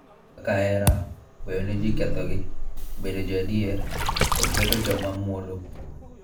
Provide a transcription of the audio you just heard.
Kaka hera, weyo ne ji kethogi, bedo jo adier, kod bedo joma mwolo, .